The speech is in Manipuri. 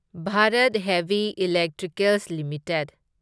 Bharat heavy electricals limited